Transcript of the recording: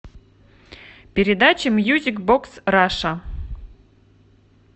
передача мьюзик бокс раша